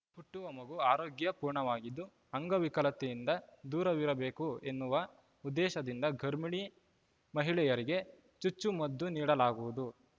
ಹುಟ್ಟುವ ಮಗು ಆರೋಗ್ಯಪೂರ್ಣವಾಗಿದ್ದು ಅಂಗವಿಕಲತೆಯಿಂದ ದೂರವಿರಬೇಕು ಎನ್ನುವ ಉದ್ದೇಶದಿಂದ ಗರ್ಭಿಣಿ ಮಹಿಳೆಯರಿಗೆ ಚುಚ್ಚು ಮದ್ದು ನೀಡಲಾಗುವುದು